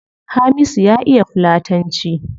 Hamisu ya iya fulatanci